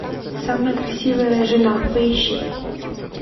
самая красивая жена поищи